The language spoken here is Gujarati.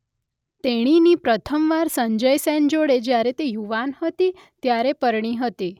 તેણીની પ્રથમ વાર સંજય સેન જોડે જ્યારે તે યુવાન હતી ત્યારે પરણી હતી.